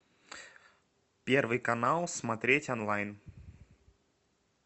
первый канал смотреть онлайн